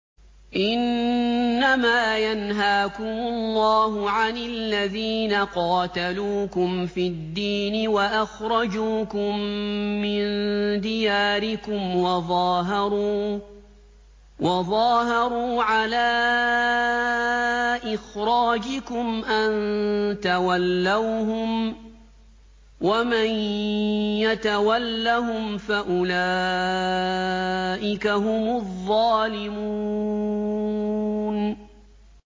إِنَّمَا يَنْهَاكُمُ اللَّهُ عَنِ الَّذِينَ قَاتَلُوكُمْ فِي الدِّينِ وَأَخْرَجُوكُم مِّن دِيَارِكُمْ وَظَاهَرُوا عَلَىٰ إِخْرَاجِكُمْ أَن تَوَلَّوْهُمْ ۚ وَمَن يَتَوَلَّهُمْ فَأُولَٰئِكَ هُمُ الظَّالِمُونَ